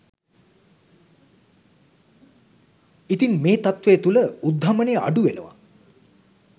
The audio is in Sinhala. ඉතින් මේ තත්ත්වය තුළ උද්ධමනය අඩුවෙනවා